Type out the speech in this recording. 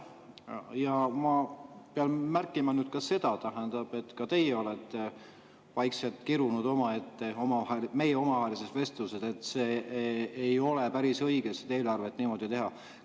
Ja ma pean märkima ka seda, et teiegi olete meie omavahelises vestluses vaikselt kirunud, et ei ole päris õige eelarvet niimoodi teha.